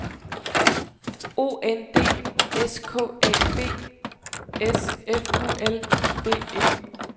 O N D S K A B S F U L D E